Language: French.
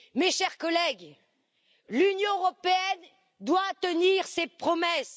Mes chers collègues, l'Union européenne doit tenir ses promesses.